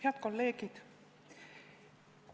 Head kolleegid!